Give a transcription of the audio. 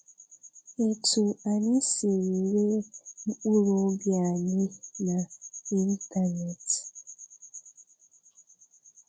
Etú anyị siri ree mkpụrụ obi anyị na ịntanetị. um